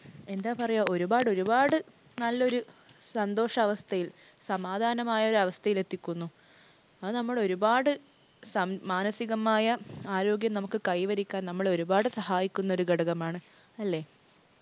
എന്താ പറയുക ഒരുപാട് ഒരുപാട് നല്ലൊരു സന്തോഷാവസ്ഥയിൽ സമാധാനമായ ഒരു അവസ്ഥയിൽ എത്തിക്കുന്നു. അത് നമ്മൾ ഒരുപാട് മാനസികമായ ആരോഗ്യം നമുക്ക് കൈവരിക്കാൻ നമ്മളെ ഒരുപാട് സഹായിക്കുന്ന ഒരു ഘടകമാണ്. അല്ലേ?